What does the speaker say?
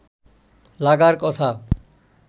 লাগার কথা